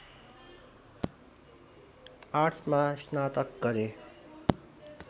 आर्ट्समा स्नातक गरे